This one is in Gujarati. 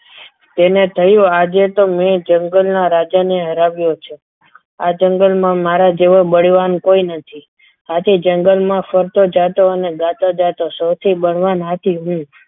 તેને થયું કે આજે તો મેં જંગલના રાજા ને હરાવ્યો છે આ જંગલમાં મારા જેવું બળવાન કોઈ નથી આથી જંગલમાં ફરતું જાતો અને ગાતો જાતો જાતો સૌથી બળવાન હાથી હું